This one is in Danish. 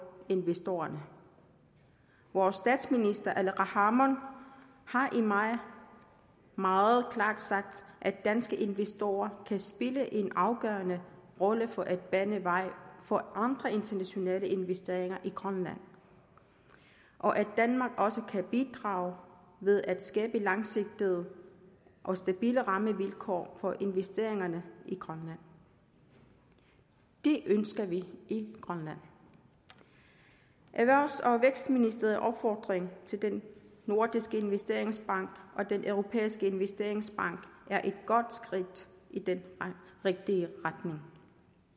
investorerne vores statsminister aleqa hammond har i maj meget klart sagt at danske investorer kan spille en afgørende rolle for at bane vej for andre internationale investeringer i grønland og at danmark også kan bidrage ved at skabe langsigtede og stabile rammevilkår for investeringerne i grønland det ønsker vi i grønland erhvervs og vækstministeriets opfordring til den nordiske investeringsbank og den europæiske investeringsbank er et godt skridt i den rigtige retning